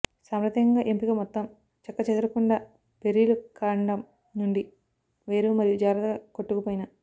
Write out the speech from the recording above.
సాంప్రదాయకంగా ఎంపిక మొత్తం చెక్కుచెదరకుండా బెర్రీలు కాండం నుండి వేరు మరియు జాగ్రత్తగా కొట్టుకుపోయిన